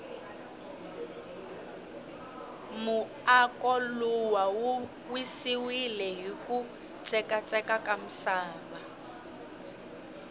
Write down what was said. muako luwa wu wisiwile hiku tseka tseka ka misava